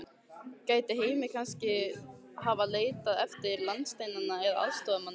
Gæti Heimir kannski hafa leitað út fyrir landsteinana að aðstoðarmanni?